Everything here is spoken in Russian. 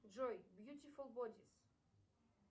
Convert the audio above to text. джой бьютифул бодис